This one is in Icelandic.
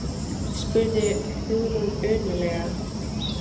spurði Hugrún önuglega.